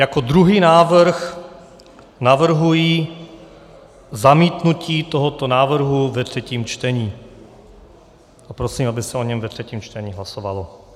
Jako druhý návrh navrhuji zamítnutí tohoto návrhu ve třetím čtení a prosím, aby se o něm ve třetím čtení hlasovalo.